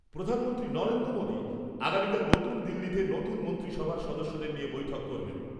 প্রধানমন্ত্রী নরেন্দ্র মোদি আগামীকাল নতুন দিল্লীতে নতুন মন্ত্রী সভার সদস্যদের নিয়ে বৈঠক করবেন ।